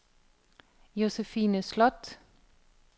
Josefine Slot